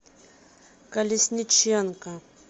колесниченко